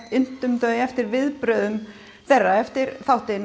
inntum þau eftir viðbrögðum þeirra eftir þáttinn